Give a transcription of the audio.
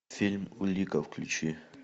фильм улика включи